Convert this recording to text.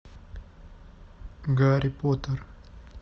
гарри поттер